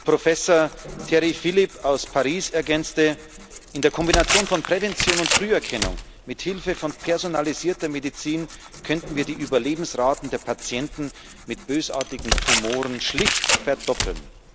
Professor Thierry Philip aus Paris ergänzte In der Kombination von Prävention und Früherkennung, mit Hilfe von personalisierter Medizin könnten wir die Überlebensraten der Patienten mit bösartigen Tumoren schlicht verdoppeln.